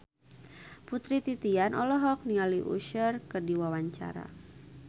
Putri Titian olohok ningali Usher keur diwawancara